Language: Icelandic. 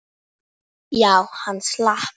Það gerir Gerður nokkrum sinnum.